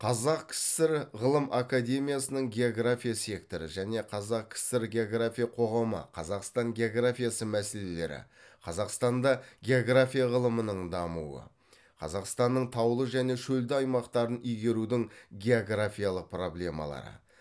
қазақ кср ғылым академиясының география секторы және қазақ кср география қоғамы қазақстан географиясы мәселелері қазақстанда география ғылымының дамуы қазақстанның таулы және шөлді аймақтарын игерудің географиялық проблемалары